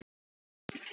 Þá getur farið illa.